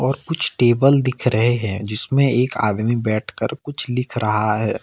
और कुछ टेबल दिख रहे हैं जिसमें एक आदमी बैठकर कुछ लिख रहा है।